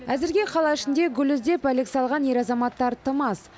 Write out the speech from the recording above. әзірге қала ішінде гүл іздеп әлек салған ер азаматтар тым аз